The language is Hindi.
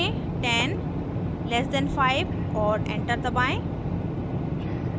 टाइप करें 10 less than 5 और एंटर दबाएं